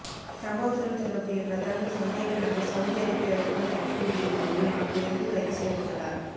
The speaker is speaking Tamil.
சம்பவத்துடன் தொடர்புடைய பிரதான சந்தேக நபர் சவூதி அரேபியாவிற்கு தப்பி ஓடிய போதிலும் அங்கு வைத்து கைது செய்யப்பட்டுள்ளார்